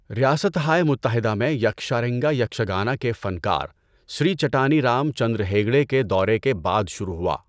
ریاستہائے متحدہ میں یکشارنگا یکشگانا کے فنکار سری چٹانی رام چندر ہیگڈے کے دورے کے بعد شروع ہوا۔